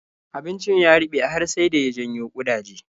Abincin ya ruɓe har sai da ya janyo ƙudaje.